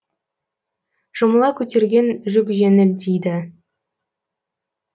жұмыла көтерген жүк жеңіл дейді